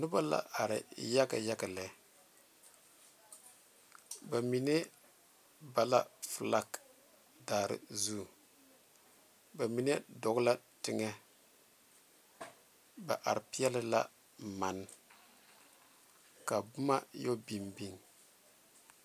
Noba la are yaga yaga lɛ ba mine ba la falaa are zu ba mine dɔ la tegɛ ba are Pelee la manne ka boma yɛ biŋbiŋe.